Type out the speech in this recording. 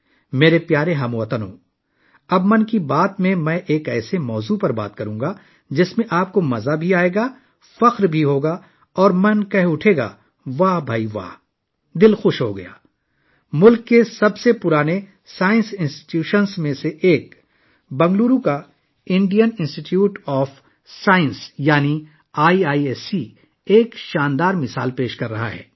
میرے پیارے ہم وطنو، اب 'من کی بات' میں میں ایک ایسے موضوع پر بات کروں گا، جس میں آپ کو خوشی اور فخر محسوس ہوگا اور آپ کا دماغ کہے گا واہ کیا بات ہے! ملک کے قدیم ترین سائنسی اداروں میں سے ایک، Indian institute of science, Bangalore, یعنی آئی آئی ایس سی، ایک شاندار مثال پیش کر رہا ہے